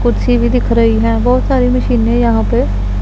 कुर्सी भी दिख रही है बहोत सारी मशीन है यहां पे।